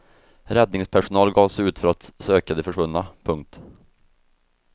Räddningspersonal gav sig ut för att söka de försvunna. punkt